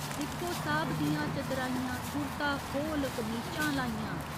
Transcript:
दिक्खो साह्ब दियां चतराइयां कुरता खोह्‌ल कमीचां लाइयां।